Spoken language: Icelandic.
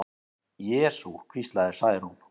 Jesú, hvíslaði Særún.